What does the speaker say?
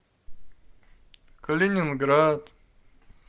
калининград